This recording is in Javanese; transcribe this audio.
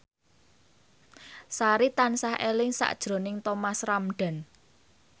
Sari tansah eling sakjroning Thomas Ramdhan